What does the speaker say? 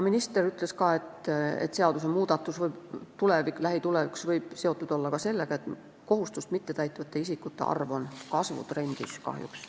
Minister ütles, et seadusmuudatus võib lähitulevikus olla seotud ka sellega, et kohustust mittetäitvate isikute arv on kahjuks kasvutrendis.